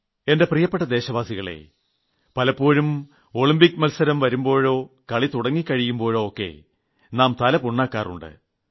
എന്റെ പ്രിയപ്പെട്ട ദേശവാസികളേ പലപ്പോഴും ഒളിമ്പിക്സ് മത്സരം വരുമ്പോഴോ കളി തുടങ്ങിക്കഴിയുമ്പോഴോ ഒക്കെ നാം തല പുണ്ണാക്കാറുണ്ട്